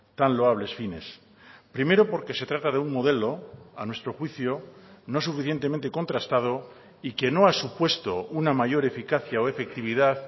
tan loables fines primero porque se trata de un modelo a nuestro juicio no suficientemente contrastado y que no ha supuesto una mayor eficacia o efectividad